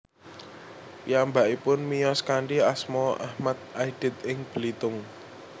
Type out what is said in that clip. Piyambakipun miyos kanthi asma Achmad Aidit ing Belitung